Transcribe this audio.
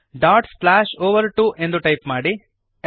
over2 dot slash over two ಎಂದು type ಮಾಡಿರಿ